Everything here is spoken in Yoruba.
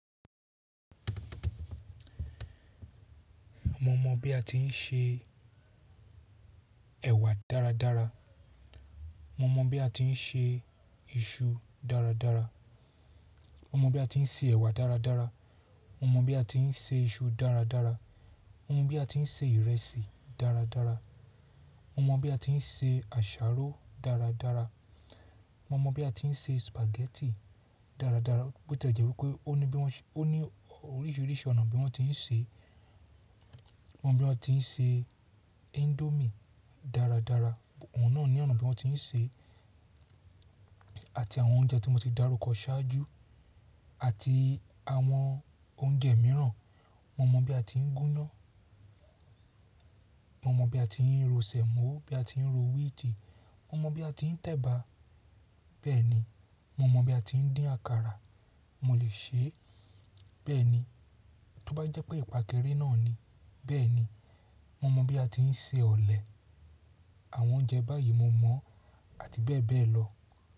Mo mọ̀ bí a ti ń se ẹ̀wà dáradára, mo mọ̀ bí a ti ń se iṣu dáradára, mo mọ̀ bí a ti ń se ẹ̀wà dáradára, mo mọ̀ bí a ti ń se iṣu dáradára, mo mọ̀ bí a ti ń se ìrẹsì dáradára, mo mọ̀ bí a ti ń se àsáró dáradára, mo mọ̀ bí a ti ń se spaghetti dáradára. Bo ẹ̀jẹ́ wí pé ó ní bí wọ́n, ó ní oríṣiríṣi ọ̀nà bí wọ́n ti ń ṣe. Mo mọ̀ bí wọ́n ti ń se indomie dáradára. Òun náà ní ọ̀nà tí wọ́n ti ń ṣe àti àwọn oúnjẹ tí mo ti dárúkọ ṣáájú àti àwọn oúnjẹ mìíràn. Mo mọ̀ bí a ti ń gúnyán, mo mọ̀ bí a ti ń ro sèmó, bí a ti ń ro wíìtì, mo mọ̀ bí a ti ń tẹ̀bà. Bẹ́ẹ̀ ni, mo mọ̀ bí a ti ń dín àkàrà. Mo lè ṣe é. Bẹ́ẹ̀ ni, tó bá jẹ́ pé ìpàkẹ́rẹ́ náà ni, bẹ́ẹ̀ ni. Mo mọ̀ bí a ti ń se ọ̀lẹ̀. Àwọn oúnjẹ báyìí mo mọ̀ àti bẹ́ẹ̀ bẹ́ẹ̀ lọ.